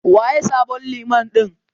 Waye sabon Liman ɗin?